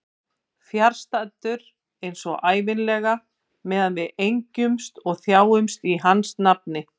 Fjarstaddur eins og ævinlega meðan við engjumst og þjáumst í hans nafni.